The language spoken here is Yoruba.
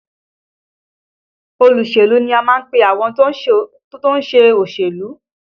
Olóṣèlú ni à ń pe àwọn tó ń ṣe òṣèlú